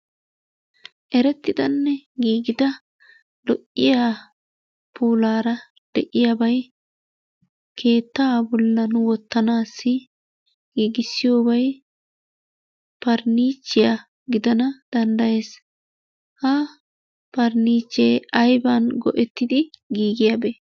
Erettidanne giigida lo'iya puulaara de'iya bay keettaa bollan wottanaassi giigissiyobay parniichchiya gidana danddayees. Ha parniichchee ayiban go'ettidi giigiyabe?